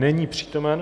Není přítomen.